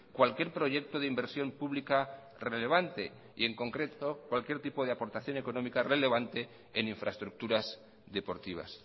cualquier proyecto de inversión pública relevante y en concreto cualquier tipo de aportación económica relevante en infraestructuras deportivas